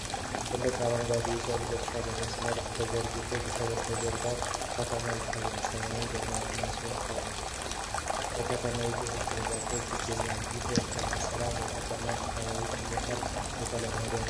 ትላልቅ አረንጓዴ የሰብል እርሻዎች በመስመር ተዘርግተው ከበስተጀርባው ከተማ ይታያል። ሰማዩ ደመናማ ሲሆን በከተማይቱ ህንጻዎችና ዛፎች ይገኛሉ። ይህ የእርሻ ስራ በከተማ አካባቢ ምን ያህል የተለመደ ነው?